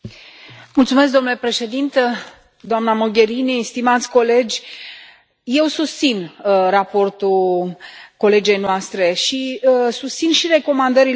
Domnule președinte, doamna Mogherini, stimați colegi, eu susțin raportul colegei noastre și susțin și recomandările făcute.